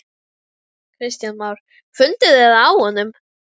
Kristján Már: Funduð þið það á honum?